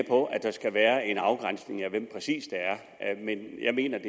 på at der skal være en afgrænsning af hvem det præcis er men jeg mener